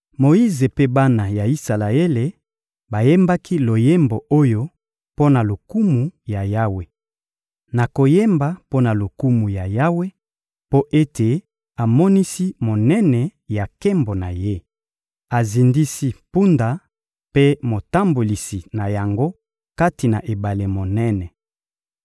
Moyize mpe bana ya Isalaele bayembaki loyembo oyo mpo na lokumu ya Yawe: Nakoyemba mpo na lokumu ya Yawe, mpo ete amonisi monene ya nkembo na Ye! Azindisi mpunda mpe motambolisi na yango kati na ebale monene.